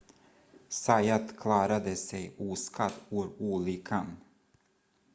zayat klarade sig oskadd ur olyckan